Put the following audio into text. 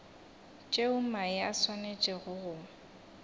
tšeo mae a swanetšego go